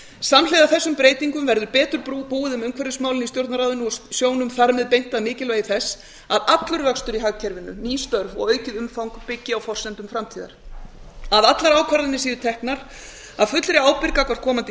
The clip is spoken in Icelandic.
samhliða þessum breytingum verður betur búið um umhverfismálin í stjórnarráðinu og sjónum þar með beint að mikilvægi þess að allur vöxtur í hagkerfinu ný störf og aukið umfang byggi á forsendum framtíðar að allar ákvarðanir séu teknar af fullri ábyrgð gagnvart komandi